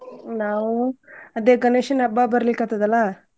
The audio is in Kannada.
ನಾವು ಅದೇ ಗಣೇಶನ್ ಹಬ್ಬ ಬರ್ಲೀಕತ್ತದಲ್ಲ.